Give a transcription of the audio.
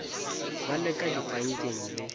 ba le ka dipankeng le